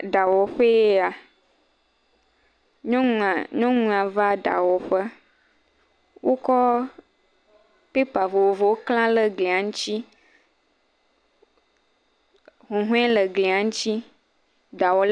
Eɖawɔƒee ya, nyɔnua nyɔnua va ɖawɔƒe, wokɔ pepa vovovowo kle ɖe glia ŋuti, huhɔ̃e le glia ŋuti.